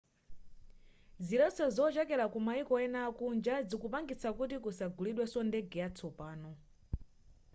ziletso zochokera kumayiko ena akunja zikupangitsa kuti kusagulidweso ndege yatsopano